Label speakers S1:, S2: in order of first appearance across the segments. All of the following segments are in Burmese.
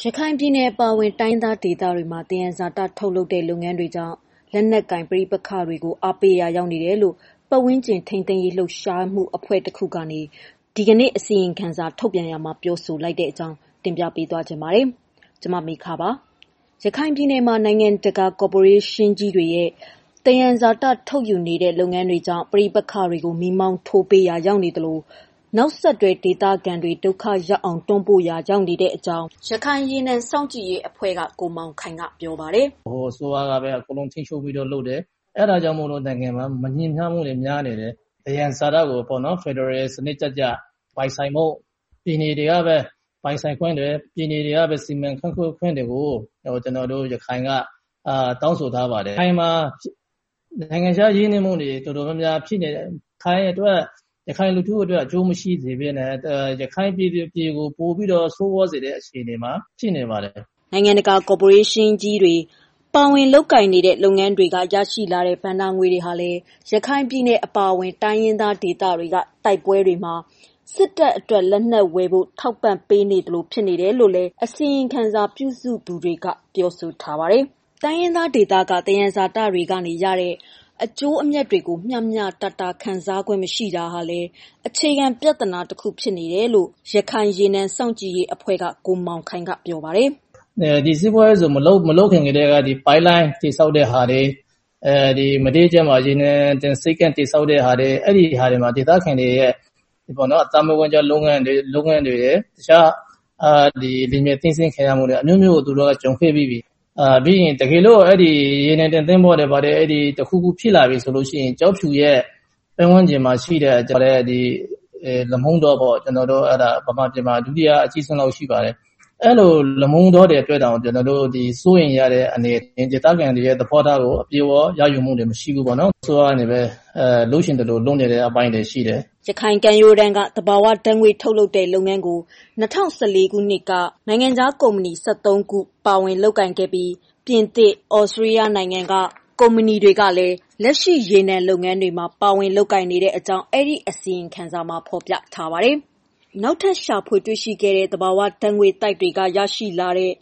S1: ရခိုင်ပြည်နယ်အပါအဝင် တိုင်းရင်းသားဒေသတွေမှာ သယံဇာတထုတ်လုပ်တဲ့ လုပ်ငန်းတွေကြောင့် လက်နက်ကိုင် ပဋိပက္ခတွေကို အားပေးရာ ရောက်နေတယ်လို့ ပတ်ဝန်းကျင်ထိန်းသိမ်းရေး လှုပ်ရှားမှုအဖွဲ့တခုက ဒီကနေ့ အစီရင်ခံစာ ထုတ်ပြန်ရာမှာ ပြောဆိုလိုက်တဲ့ အကြောင်း တင်ပြပေးချင်ပါတယ်။ ဗွီအိုအေမြန်မာပိုင်း သတင်းထောက် မမေခက ပြောပြပေးပါမယ်။ ရခိုင်ပြည်နယ်မှာ နိုင်ငံတကာ ကော်ပိုရေးရှင်းကြီးတွေရဲ့ သယံဇာတ ထုတ်ယူနေတဲ့ လုပ်ငန်းတွေ ကြောင့် ပဋိပက္ခတွေကို မီးမောင်းထိုးပေးရာ ရောက်နေသလို၊ နောက်ဆက်တွဲ ဒေသခံတွေ ဒုက္ခရောက်အောင် တွန်းပို့ပေးရာရောက်တဲ့အကြောင်း ရခိုင်ရေနံ စောင့်ကြည့်ရေးအဖွဲ့ (AOW) က ကိုမောင်ခိုင်က ပြောပါတယ်
S2: ။ "ဗဟိုအစိုးရကပဲ အကုန်လုံးထိန်းချုပ်ပြီးတော့ လုပ်တယ်။ အဲ့ဒါကြောင့်မို့လည်း နိုင်ငံက မညီမျှမှုတွေ များနေတယ်။ သယံဇာတကိုပေါ့နော် ဖယ်ဒရယ်စနစ်ကျကျ ပိုင်ဆိုင်ဖို့ ပြည်နယ်တွေကပဲ ပိုင်ဆိုင်ခွင့်တွေ၊ ပြည်နယ်တွေကပဲ စီမံခန့်ခွဲခွင့်တွေကို ကျနော်တို့ ရခိုင်က တောင်းဆိုထားပါတယ်။ ရခိုင်မှာ နိုင်ငံခြားရင်းနှီးမှုတွေ တော်တော်များများ ရခိုင်အတွက် ရခိုင်လူထုအတွက် အကျိုးမရှိစေဘဲနဲ့ ရခိုင်ပြည်သူတွေကို ပိုပြီးတော့ ဆိုးရွားစေတဲ့ အခြေအနေမှာ ရှိနေပါတယ်။
S1: " နိုင်ငံတကာ ကော်ပိုရေးရှင်းကြီးတွေ ပါဝင်လုပ်ကိုင်နေတဲ့ လုပ်ငန်းတွေက ရရှိတဲ့ ဘဏ္ဍာငွေတွေဟာလည်း ရခိုင်ပြည်နယ်အပါအဝင် တိုင်းရင်းသားဒေသတွေက တိုက်ပွဲတွေမှာ စစ်တပ်အတွက် လက်နက်ဝယ်ဖို့ ထောက်ပံ့ပေးနေသလို ဖြစ်နေတယ်လို့လည်း အစီရင်ခံစာ ပြုစုသူတွေက ပြောဆိုထားတာပါ။ တိုင်းရင်းသားဒေသက သယံဇာတတွေက ရတဲ့ အကျိုးအမြတ်တွေကို မျှမျှတတ ခံစားခွင့် မရှိတာဟာလည်း အခြေခံပြဿနာတခု ဖြစ်တယ်လို့ ရခိုင်ရေနံစောင့်ကြည့်ရေးအဖွဲ့က ကိုမောင်ခိုင်က ပြောပါတယ်
S2: ။ "ဒီစီးပွားရေးဇုန် မလုပ်ခင်ကတည်းက ပိုက်လိုင်းတွေ ဆောက်တဲ့ဟာတွေ၊ မဒေးကျွန်းမှာ ရေနံတင်ဆိပ်ကမ်း တည်ဆောက်တဲ့ဟာတွေ အဲ့ဒီဟာတွေမှာ ဒေသခံတွေရဲ့ အသက်မွေးဝမ်းကျောင်း လုပ်ငန်းတွေရယ်၊ တခြား ဒီနယ်မြေသိမ်းဆည်းခံရမှုတွေ အမျိုးမျိုးကို သူတို့ ကြုံတွေ့ပြီးပြီ။ တကယ်လို့ ဒီရေနံတင်သွင်းဖို့တွေ ဘာတွေ တခုခု ဖြစ်လာပြီဆိုလို့ရှိရင် ကျောက်ဖြူရဲ့ ပတ်ဝန်းကျင်မှာ ရှိတဲ့ လမုံတောပေါ့ မြန်မာပြည်မှာ ဒုတိယအကြီးဆုံးလောက်ရှိပါတယ်။ အဲလို လမုံတောတွေ အတွက်တောင် ကျနော်တို့ စိုးရိမ်ရတဲ့ ဒေသခံတွေရဲ့ သဘောထားကို အပြည့်အ၀ ရယူမှု မရှိဘူးပေါ့နော်။ အစိုးရနဲ့ပဲ လုပ်ချင်သလို လုပ်နေတဲ့ အပိုင်းတွေရှိတယ်။
S1: " ရခိုင်ကမ်းရိုးတန်းက သဘာဝဓာတ်ငွေ့ ထုတ်လုပ်တဲ့လုပ်ငန်းကို ၂၀၁၄ ခုနှစ်က နိုင်ငံခြားကုမ္ပဏီ ၁၃ ခု ပါဝင်လုပ်ကိုင်နေပြီး ပြင်သစ်၊ သြစတြေးလျ နိုင်ငံက ကုမ္ပဏီတွေကလည်း လက်ရှိ ရေနံလုပ်ငန်းတွေမှာ ပါဝင်နေကြောင်းလည်း အစီရင်ခံစာမှာ ဖော်ပြထားပါတယ်။ နောက်ထပ် ရှာဖွေတွေ့ရှိတဲ့ သဘာဝဓာတ်ငွေ့သိုက်တွေက တူးဖော်ရရှိတဲ့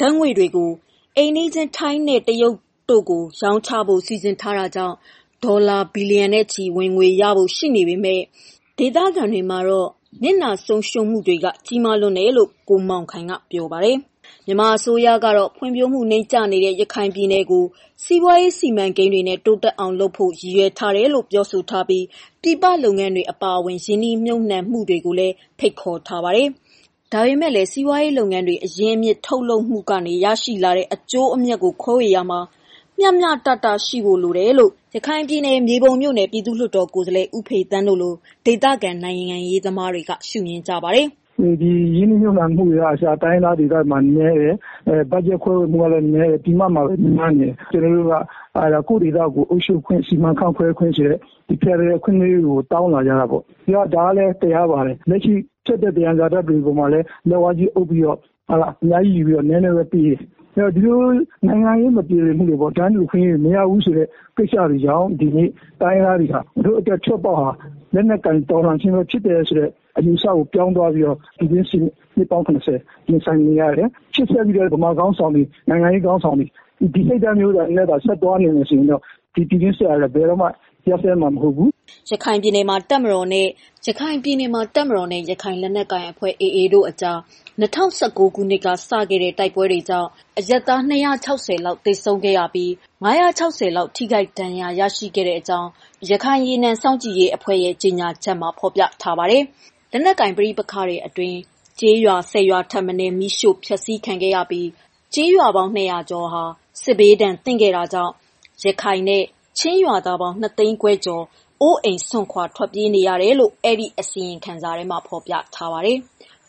S1: ဓာတ်ငွေ့တွေကို အိမ်နီးချင်း ထိုင်းနဲ့ တရုတ်နိုင်ငံတွေကို ရောင်းချဖို့ စီစဉ်ထားတာကြောင့် ဒေါ်လာ ဘီလီယံနဲ့ချီ ဝင်ငွေရဖို့ ရှိနေပေမဲ့ ဒေသခံတွေမှာတော့ နစ်နာဆုံးရှုံးမှုတွေက ကြီးမားလွန်းတယ်လို့လည်း ကိုမောင်ခိုင်က ပြောပါတယ်။ မြန်မာအစိုးရကတော့ ဖွံ့ဖြိုးမှုတွေ နိမ့်ကျနေတဲ့ ရခိုင်ပြည်နယ်ကို စီးပွားရေး စီမံကိန်းတွေနဲ့ တိုးတက်အောင်လုပ်ဖို့ ရည်ရွယ်ထားတယ်လို့ ပြောဆိုထားပြီး ပြည်ပလုပ်ငန်းတွေ အပါအဝင် ရင်းနှီးမြှုပ်နံှမှုတွေကိုလည်း ဖိတ်ခေါ်ထားပါတယ်။ ဒါပေမဲ့လည်း စီးပွားရေးလုပ်ငန်းတွေ အရင်းအမြစ် ထုတ်လုပ်မှုတွေက ရရှိတဲ့ အကျိုးအမြတ်တွေကို ခွဲဝေသုံးစွဲရာမှာ မျှတမှု ရှိဖို့လိုတယ်လို့ ရခိုင်ပြည်နယ် မြေပုံမြို့နယ် ပြည်သူ့လွှတ်တော်ကိုယ်စားလှယ်ဦးဖေသန်းတို့လို ဒေသခံ နိုင်ငံရေးသမားတွေက မြင်ကြပါတယ်
S3: ။ "ဒီရင်းနှီးမြှုပ်နှံမှုတွေကအစ တိုင်းရင်းသားဒေသတွေမှာ နည်းတယ်။ budget ခွဲဝေမှုကလည်း နည်းတယ်။ ပြင်ပမှာပဲ များနေတယ်။ ကျနော်တို့က ကိုယ့်ဒေသကို အုပ်ချုပ်ခွင့်၊ စီမံခန့်ခွဲခွင့် ဖယ်ဒရယ်အခွင့်အရေးကို တောင်းလာကြတာပေါ့။ ဒါကလည်းတရားပါတယ်။ လက်ရှိ ထွက်တဲ့ သယံဇာတတွေပေါ်မှာလည်း လက်ဝါးကြီးအုပ်ပြီးတော့ အများကြီးယူပြီးတော့ နည်းနည်းပဲပေးတယ်။ ဒီလိုနိုင်ငံရေး မပြေလည်မှုတွေပေါ့ ၊ တန်းတူအခွင့်အရေးတွေ မရဘူးဆိုတဲ့ကိစ္စတွေကြောင့် ဒီနေ့တိုင်းရင်းသားတွေက ငါတို့အတွက် ထွက်ပေါက်ဟာ လက်နက်ကိုင် တော်လှန်ခြင်းပဲ ဖြစ်တယ်လို့ အယူအဆကို ပြောင်းသွားပြီးတော့ နှစ်ပေါင်း ၇၀ ရင်ဆိုင်နေရတယ်။ ရှေ့ဆက်ပြီးတော့ မြန်မာခေါင်းဆောင်တွေ၊ နိုင်ငံရေးခေါင်းဆောင်တွေ ဒီစိတ်ဓာတ်မျိုးနဲ့သာ သွားနေမယ်ဆိုရင်တော့ ပြည်တွင်းစစ်ဟာလည်း ဘယ်တော့မှ ရပ်စဲမှာမဟုတ်ဘူး
S1: ။" ရခိုင်ပြည်နယ်မှာ တပ်မတော်နဲ့ ရခိုင်လက်နက်ကိုင်အဖွဲ့ AA တို့ကြား ၂၀၁၉ ခုနှစ်က စခဲ့တဲ့ တိုက်ပွဲ တွေကြောင့် အရပ်သား ၂၆၀ လောက် သေဆုံးခဲ့ရပြီး၊ ၅၆၀ လောက် ထိခိုက်ဒဏ်ရာ ရရှိခဲ့ကြောင်း လည်း ရခိုင်ရေနံစောင့်ကြည့်ရေးအဖွဲ့ရဲ့ ကြေညာချက်မှာ ဖော်ပြထားတာပါ။ လက်နက်ကိုင် ပဋိပက္ခတွေအတွင်း ကျေးရွာ ၁၀ ရွာထက်မနည်း မီးရှို့ဖျက်ဆီးခံခဲ့ရပြီး ကျေးရွာပေါင်း ၂၀၀ ကျော်ဟာလည်း စစ်ဒဏ်သင့်ခဲ့တာကြောင့် ရခိုင်နဲ့ ချင်းရွာသားပေါင်း ၂၅၀,၀၀၀ ကျော် အိုးအိမ်စွန့်ခွာ ထွက်ပြေးတိမ်းရှောင်ခဲ့ကြရတယ်လို့လည်း အစီရင်ခံစာမှာ ဖော်ပြထားပါတယ်။